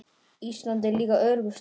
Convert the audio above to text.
Ísland er líka öruggur staður.